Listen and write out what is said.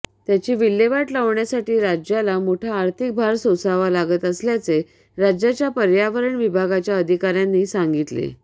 त्याची विल्हेवाट लावण्यासाठी राज्याला मोठा आर्थिक भार सोसावा लागत असल्याचे राज्याच्या पर्यावरण विभागाच्या अधिकाऱ्यांनी सांगितले